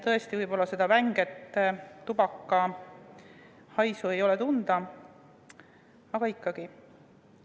Tõesti, seda vänget tubakahaisu ei ole tunda, aga ikkagi.